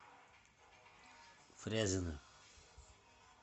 фрязино